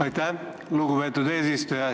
Aitäh, lugupeetud eesistuja!